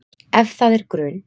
Ef það er grun